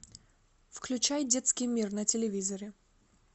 включай детский мир на телевизоре